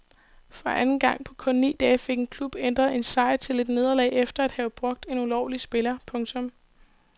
For anden gang på kun ni dage fik en klub ændret en sejr til et nederlag efter at have brugt en ulovlig spiller. punktum